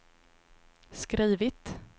skrivit